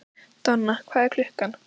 Donna, hvað er klukkan?